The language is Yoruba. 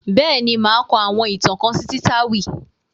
Bẹ́ẹ̀ ni, màá kọ àwọn ìtàn kan sí Títáwì